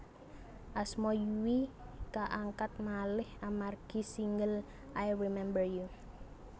Asma Yui kaangkat malih amargi single I Remember You